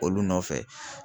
Olu nɔfɛ